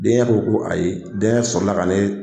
Denkɛ ko ko ayi, denkɛ sɔrɔ la k'ale